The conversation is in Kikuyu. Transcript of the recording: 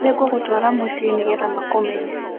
Nĩ ngũgũtwara mũciĩ nĩgetha makũmenye.